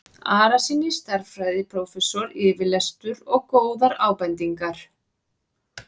Arasyni stærðfræðiprófessor yfirlestur og góðar ábendingar.